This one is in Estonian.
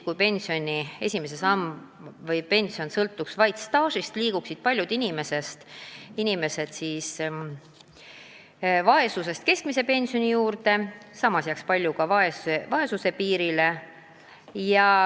Kui pension sõltuks vaid staažist, liiguksid paljud inimesed vaesusest keskmise pensioni saajate hulka, samas jääks paljud ka vaesuspiirile.